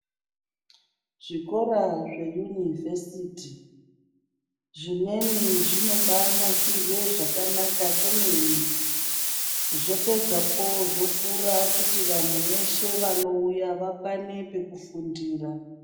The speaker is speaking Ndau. Zvikora zveyunivhesiti zvimweni zvinobaanasirwe zvakanaka kwemene. Zvopedzapo zvokura kuti vanhu veshe vanouya vakwane pekufundira.